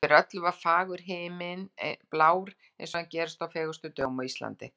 Yfir öllu var fagur himinn, blár eins og hann gerist á fegurstu dögum á Íslandi.